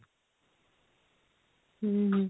ହୁଁ